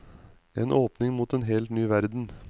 En åpning mot en helt ny verden.